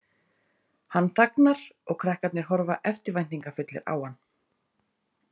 Hann þagnar og krakkarnir horfa eftirvæntingarfullir á hann.